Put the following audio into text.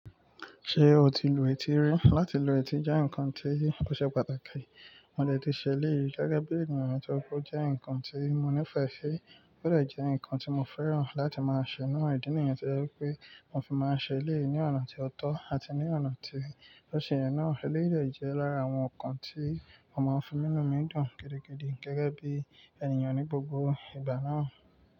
Ṣé o ti lu etí rí? Lati lu etí jẹ́ nǹkan tó ṣe pàtàkì. Mo dẹ̀ ti ṣẹ elẹ̀yi rí gẹ́gẹ́ bí ènìyàn tó kù jẹ́ nǹkan tí mo nífẹ̀ẹ́ si, ó dẹ̀ jẹ́ nǹkan tí mo fẹ́ràn láti máa ṣẹ̀ náà. Ìdí nìyẹn to jẹ wipé mo fi máa ṣẹ eleyi ní ọ̀nà ti ó tọ́ àti ní ọ̀nà ti o sẹ̀yẹn náà. Ẹlẹyi de jẹ́ lára àwọn nǹkan tí mo máa ń fi mú inu mi dùn gidigidi gẹ́gẹ́ bí ènìyàn ní gbogbo ìgbà náà.